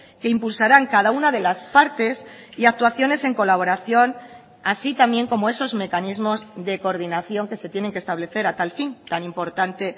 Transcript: que impulsarán cada una de las partes y actuaciones en colaboración así también como esos mecanismos de coordinación que se tienen que establecer a tal fin tan importante